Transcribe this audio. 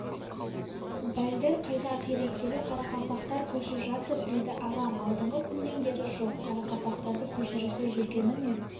бәлдір қайда ақиректегі қарақалпақтар көшіп жатыр дейді ағам алдыңғы күннен бері жоқ қарақалпақтарды көшірісе жүргені ме